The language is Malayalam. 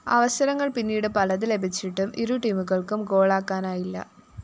അവസരങ്ങള്‍ പിന്നീട് പലത് ലഭിച്ചിട്ടും ഇരു ടീമുകള്‍ക്കും ഗോളാക്കാനായില്ല